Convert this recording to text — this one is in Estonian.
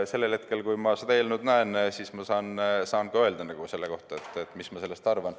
Sellel hetkel, kui ma seda eelnõu näen, ma saan öelda, mis ma sellest arvan.